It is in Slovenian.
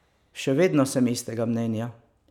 Še vedno sem istega mnenja.